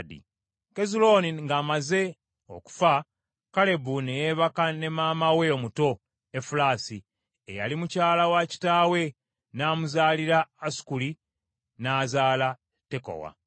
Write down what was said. Kezulooni ng’amaze okufa, Kalebu ne yeebaka ne maama we omuto Efulaasi eyali mukyala wa kitaawe, n’amuzaalira Asukuli, n’azaala Tekowa.